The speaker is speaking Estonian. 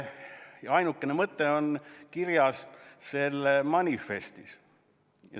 Põhiline mõte on kirjas selle toetusrühma manifestis.